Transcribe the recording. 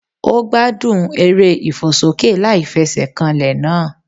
Ó gbádùn eré ìfòsókè láìfesèkanlè náà